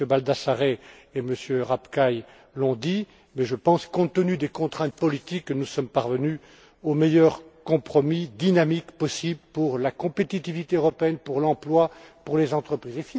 MM. Baldassare et Rapkay l'ont dit, mais je pense que, compte tenu des contraintes politiques, nous sommes parvenus au meilleur compromis dynamique possible pour la compétitivité européenne, pour l'emploi et pour les entreprises.